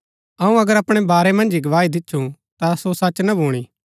अऊँ अगर अपणै बारै मन्ज ही गवाही दिच्छु ता सो सच ना भूणी